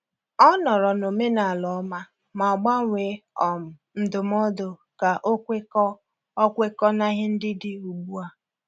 Ọ nọọrọ n’omenala ọma, ma gbanwee um ndụmọdụ ka ọ kwekọọ ọ kwekọọ na ihe ndị dị ugbu a.